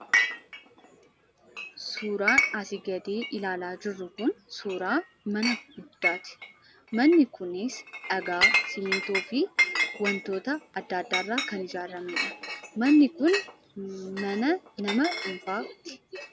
Suuraan asii gadi ilaalaa jirru kun, suuraa mana guddaatii. Manni kunis dhagaa ,simintoo fi wantoota adda addaa irraa kan ijaaramee dha. Manni kun mana nama dhuunfaati.